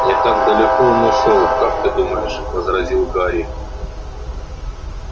не так далеко он ушёл как ты думаешь возразил гарри